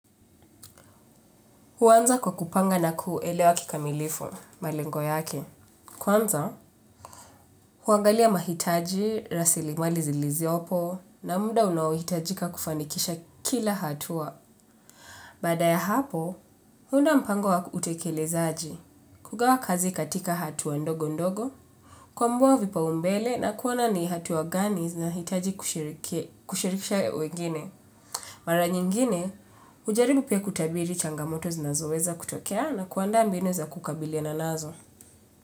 Huanza kwa kupanga na kuelewa kikamilifu, malengo yake. Kwanza, huangalia mahitaji, rasilimali zilizopo, na muda unaohitajika kufanikisha kila hatua. Baada ya hapo, huunda mpango wa utekelezaji, kugawa kazi katika hatua ndogo ndogo, kuambua vipaumbele na kuona ni hatua gani zinahitaji kushirikisha wengine. Mara nyingine, hujaribu pia kutabiri changamoto zinazoweza kutokea na kuandaa mbinu za kukabiliana nazo.